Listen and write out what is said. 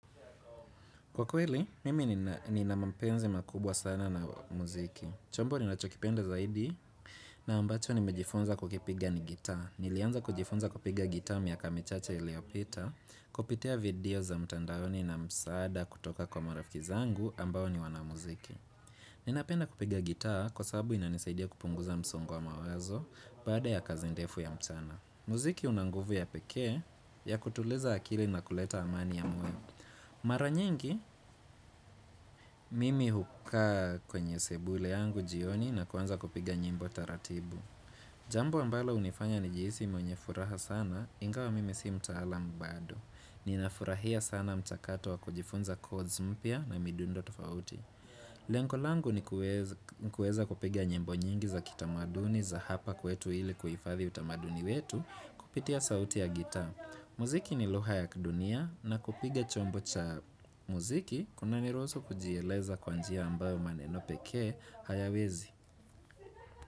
Kwa kweli, mimi nina mapenzi makubwa sana na muziki. Chombo ninachokipenda zaidi na ambacho nimejifunza kukipiga ni gitaa. Nilianza kujifunza kupiga gitaa miaka michache iliyopita, kupitia video za mtandaoni na msaada kutoka kwa marafiki zangu ambao ni wanamuziki. Ninapenda kupiga gitaa kwa sababu inanisaidia kupunguza msongo wa mawazo baada ya kazi ndefu ya mchana. Mziki una nguvu ya pekee ya kutuliza akili na kuleta amani ya moyo. Mara nyingi, mimi hukaa kwenye sebule yangu jioni na kuanza kupiga nyimbo taratibu. Jambo ambalo hunifanya nijihisi mwenye furaha sana, ingawa mimi si mtaala bado. Ninafurahia sana mchakato wa kujifunza kozi mpya na midundo tofauti. Lengo langu ni kuweza kupiga nyimbo nyingi za kitamaduni za hapa kwetu ili kuhifadhi utamaduni wetu, kupitia sauti ya gitaa. Mziki ni lugha ya dunia na kupiga chombo cha muziki kunaniruhusu kujieleza kwa njia ambayo maneno pekee hayawezi.